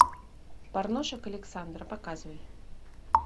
порношик александра показывай